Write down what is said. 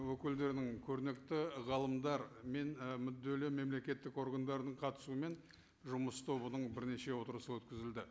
өкілдерінің көрнекті ғалымдар мен і мүдделі мемлекеттік органдардың қатысуымен жұмыс тобының бірнеше отырысы өткізілді